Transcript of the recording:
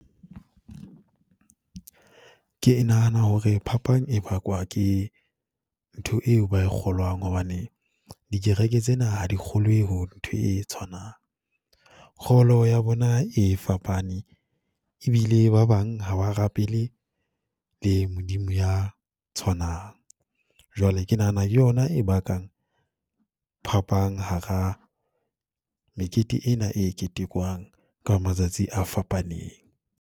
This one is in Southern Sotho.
Ke nahana hore phapang e bakwa ke ntho eo ba e kgolwang hobane, dikereke tsena ha di kgolwe ho ntho e tshwanang, kgolo ya bona e fapane e bile ba bang ha ba rapele le Modimo ya tshwanang. Jwale ke nahana yona e bakang, phapang hara mekete ena e ketekwang ka matsatsi a fapaneng.